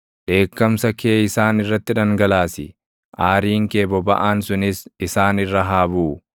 Dheekkamsa kee isaan irratti dhangalaasi; aariin kee bobaʼaan sunis isaan irra haa buʼu.